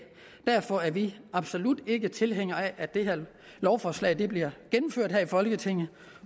derfor er vi absolut ikke tilhængere af at det her lovforslag bliver gennemført her i folketinget